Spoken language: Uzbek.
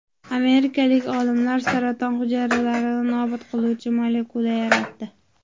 Amerikalik olimlar saraton hujayralarini nobud qiluvchi molekula yaratdi.